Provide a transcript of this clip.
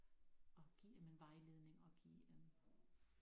At give dem en vejledning og give øh